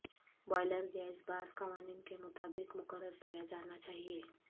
boiler gas بعض قوانین کے مطابق مقرر کیا جانا چاہئے